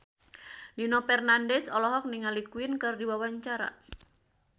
Nino Fernandez olohok ningali Queen keur diwawancara